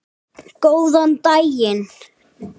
Góðan daginn